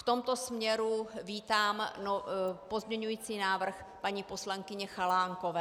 V tomto směru vítám pozměňovací návrh paní poslankyně Chalánkové.